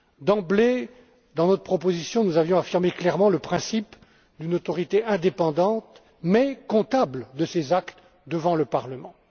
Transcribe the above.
D'emblée, dans notre proposition, nous avions affirmé clairement le principe d'une autorité indépendante mais comptable de ses actes devant le